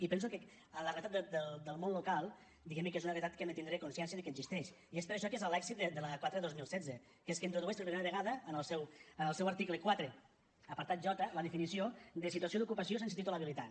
i penso que la realitat del món local diguem ne és una realitat que hem de tindre consciència de que existeix i és per això que és l’èxit de la quatre dos mil setze que és que introdueix per primera vegada en el seu article quatre apartat j la definició de situació d’ocupació sense títol habilitant